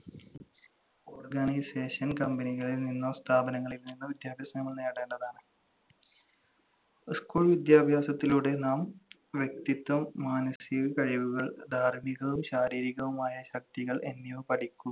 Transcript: organization company കളിൽ നിന്നോ സ്ഥാപനങ്ങളിൽ നിന്നോ വിദ്യാഭ്യാസം നമ്മൾ നേടേണ്ടതാണ്. school വിദ്യാഭ്യാസത്തിലൂടെ നാം വ്യക്തിത്വം, മാനസിക കഴിവുകൾ, ധാർമ്മികവും ശാരീരികവുമായ ശക്തികൾ എന്നിവ പഠി